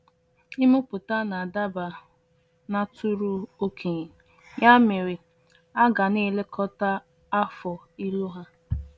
Ịmụpụta na-adaba n’atụrụ okenye, ya mere a ga na-elekọta afọ ịlụ ha.